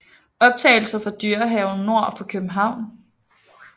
Optagelser fra Dyrehaven nord for København